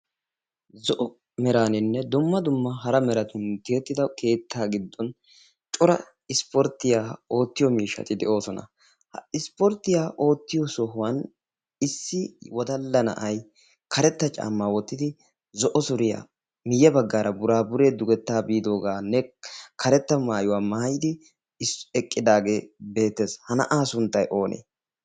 zo'o meraaninne dumma dumma hara meratun tiyettido keettaa giddon cora ispporttiyaa oottiyo miishshati di oosona ha ispporttiya oottiyo sohuwan issi wadalla na'ay karetta caammaa wottidi zo'o suriyaa miyye baggaara buraaburee dugettaa biidoogaanne karetta maayuwaa maayidi eqqidaagee beetees ha na'aa sunttay oonee